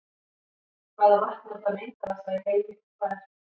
Hvaða vatn er það mengaðasta í heimi og hvar er það?